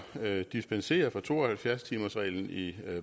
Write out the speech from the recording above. at dispensere fra to og halvfjerds timersreglen i